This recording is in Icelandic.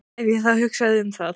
Ef ég þá hugsaði um það.